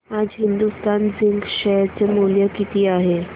आज Hindustan zinc share चे मूल्य किती आहे